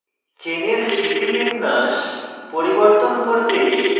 চেনের স্থিতিবিন্যাস পরিবর্তন করতে